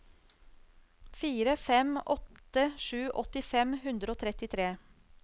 fire fem åtte sju åtti fem hundre og trettitre